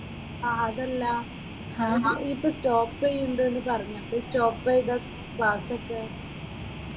അഹ് അതല്ല ഈയ് ഇപ്പൊ സ്റ്റോപ്പ് ചെയ്യിന്നുണ്ട് പറഞ്ഞു അപ്പൊ ഈ സ്റ്റോപ്പ് ചെയ്ത ക്ലാസ്സൊക്കെയോ?